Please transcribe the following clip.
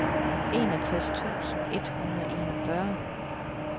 enogtres tusind et hundrede og enogfyrre